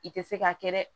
I tɛ se ka kɛ dɛ